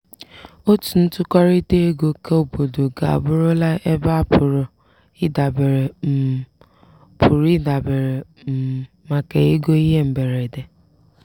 otu ntụkọrịta ego keobodo ga abụrụla ebe a pụrụ idabere um pụrụ idabere um maka ego ihe mberede.